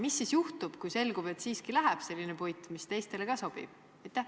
Mis siis juhtub, kui selgub, et siiski läheb sinna selline puit, mis teistele ka sobib?